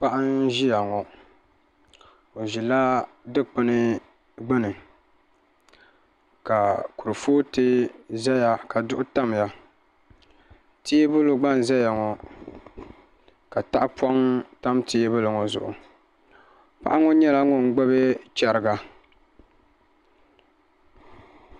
Paɣa n ʒiya ŋo o ʒila dikpuni gbuni ka kurifooti ʒɛya ka duɣu tamya teebuli gba n ʒɛya ŋo ka tahapoŋ tam teebuli ŋo zuɣu paɣa ŋo nyɛla ŋun gbubi chɛriga